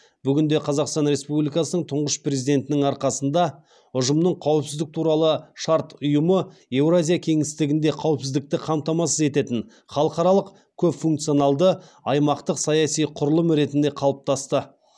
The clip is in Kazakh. бүгінде қазақстан республикасының тұңғыш президентінің арқасында ұжымдық қауіпсіздік туралы шарт ұйымы еуразия кеңістігінде қауіпсіздікті қамтамасыз ететін халықаралық көпфункционалды аймақтық саяси құрылым ретінде қалыптасты